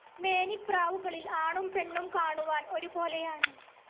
മേനിപ്രാവുകളിൽ ആണും പെണ്ണും കാണുവാൻ ഒരുപോലെയാണ്.